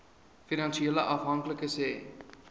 finansiële afhanklikes hê